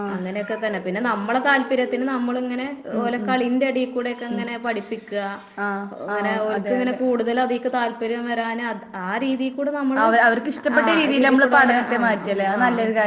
അങ്ങനൊക്കെ തന്നെ പിന്നെ നമ്മളെ താൽപ്പര്യത്തിന് നമ്മളിങ്ങനെ ഓൾടെ കളീന്റെ എടേക്കുടെ ഇങ്ങനെ പഠിപ്പിക്കാ. പിന്നെ ഓൾക്ക് കൂടുതൽ അതീക്ക് താല്പര്യം വരാന് ആ രീതീക്കൂടേ നമ്മള് ആഹ് ആഹ്